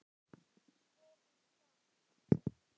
Svo út í garð.